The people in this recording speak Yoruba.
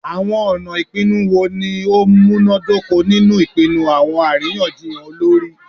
Awọn ọna ipinnu wo ni o munadoko ninu ipinnu awọn ariyanjiyan olori?